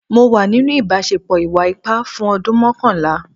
Mo wà nínú ìbáṣepọ̀ ìwà ipá fún ọdún mọ́kànlá.